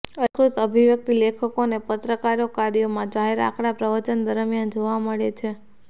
અલંકૃત અભિવ્યક્તિ લેખકો અને પત્રકારો કાર્યોમાં જાહેર આંકડા પ્રવચન દરમિયાન જોવા મળે છે